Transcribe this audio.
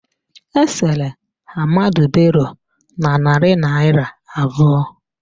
Esere Ahmadu Bello na narị naịra abụọ